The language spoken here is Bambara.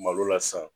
Malo la sisan